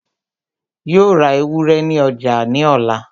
Yóò ra ewúrẹ́ ní ọjà ní ọ̀la